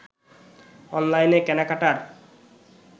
অনলাইনে কেনাকাটার